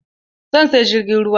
Zan siya jirgin ruwa.